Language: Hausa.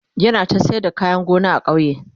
yana ta sayar da kayan gona a kauye